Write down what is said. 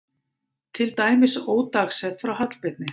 Til dæmis ódagsett frá Hallbirni